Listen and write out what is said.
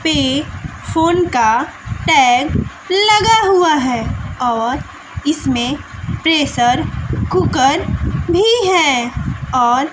पे फोन का टैग लगा हुआ हैं और इसमें प्रेशर कुकर भी हैं और--